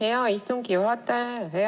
Aitäh, hea istungi juhataja!